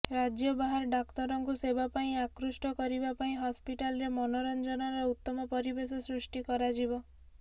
ରାଜ୍ୟ ବାହାର ଡାକ୍ତରଙ୍କୁ ସେବା ପାଇଁ ଆକୃଷ୍ଟ କରିବା ପାଇଁ ହସ୍ପିଟାଲରେ ମନୋରଂଜନର ଉତ୍ତମ ପରିବେଶ ସୃଷ୍ଟି କରାଯିବ